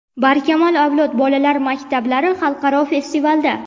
"Barkamol avlod" bolalar maktablari xalqaro festivalda.